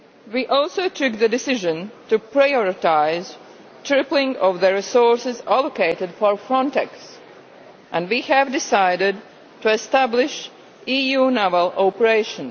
We also took the decision to prioritise the tripling of the resources allocated for Frontex and we have decided to establish an EU naval operation.